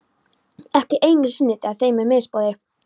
Ekki einu sinni þegar þeim er misboðið.